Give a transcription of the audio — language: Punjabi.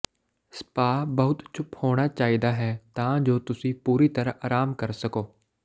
ਸਪਾ ਬਹੁਤ ਚੁੱਪ ਹੋਣਾ ਚਾਹੀਦਾ ਹੈ ਤਾਂ ਜੋ ਤੁਸੀਂ ਪੂਰੀ ਤਰ੍ਹਾਂ ਆਰਾਮ ਕਰ ਸਕੋ